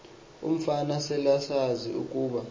umfana selesazi ukuba